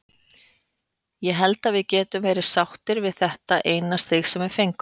Ég held að við getum verið sáttir með þetta eina stig sem við fengum.